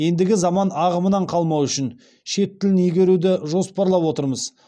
ендігі заман ағымынан қалмау үшін шет тілін игеруді жоспарлап отырмыз